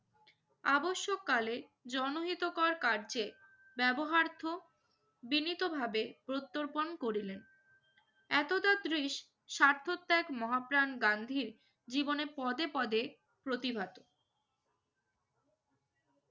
আবশ্যককালে জনহিতকর কার্যে ব্যবহার্থ বিনীতভাবে প্রত্যর্পণ করিলেন। এতদাদৃশ স্বার্থত্যাগ মহাপ্রাণ গান্ধীর জীবনে পদে পদে প্রতিবাদী।